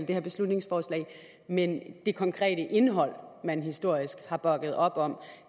det her beslutningsforslag men det konkrete indhold man historisk har bakket op om